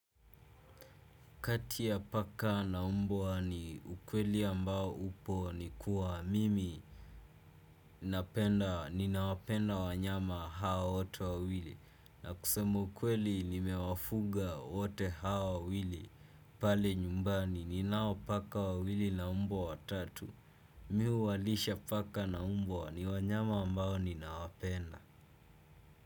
Kati ya paka na mbwa ni ukweli ambao upo ni kuwa mimi. Ninawapenda wanyama hawa wote wawili. Na kusema ukweli nimewafuga wote hao wawili pale nyumbani. Ninao paka wawili na mbwa watatu. Mi huwalisha paka na mbwa ni wanyama ambao ninawapenda.